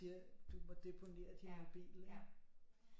Siger du må deponere din mobil ikke